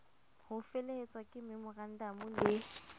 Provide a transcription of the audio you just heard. ho felehetswa ke memorandamo le